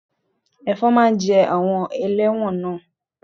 Ẹ̀fọn máa ń jẹ àwọn ẹlẹ́wọ̀n náà